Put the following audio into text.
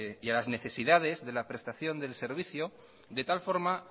y a las necesidades de la prestación del servicio de tal forma